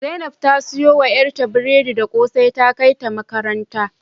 Zainab ta siyo wa yarta biredi da kose ta kaita makaranta